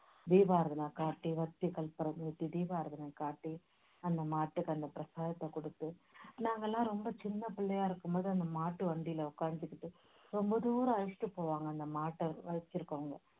தீபாராதனைக் காட்டி தீபாராதனைக் காட்டி அந்த மாட்டுக்கு அந்த பிரசாதத்தைக் கொடுத்து நாங்கெல்லாம் ரொம்ப சின்னப் பிள்ளையா இருக்கும்போது அந்த மாட்டு வண்டியில உக்காந்துகிட்டு ரொம்ப தூரம் அழைச்சிட்டு போவாங்க அந்த மாட்டை வச்சிருக்கவங்க